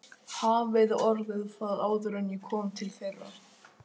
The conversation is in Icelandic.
Hafi orðið það áður en ég kom til þeirra.